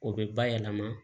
O bɛ bayɛlɛma